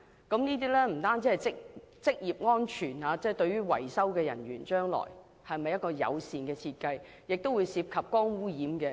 這不單是職業安全，對維修人員也是一項友善設計，而且亦涉及光污染問題。